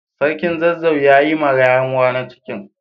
sarkin zazzau ya Yi ma yaruwa na cikin